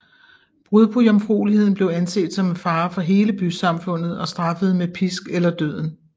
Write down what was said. Brud på jomfrueligheden blev anset som en fare for hele bysamfundet og straffet med pisk eller døden